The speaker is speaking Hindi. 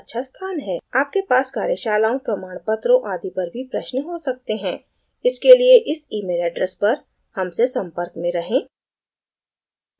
आपके पास कार्यशालाओं प्रमाणपत्रों आदि पर भी प्रश्न हो सकते हैं इसके लिए इस email address पर हमसे संपर्क में रहें